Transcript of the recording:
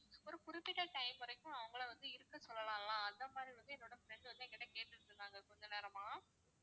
ஒரு குறிப்பிட்ட time வரைக்கும் அவங்களை வந்து இருக்க சொல்லலாம் அந்த மாதிரி வந்து என்னோட friend வந்து எங்கிட்ட கேட்டுட்டு இருந்தாங்க கொஞ்ச நேரமா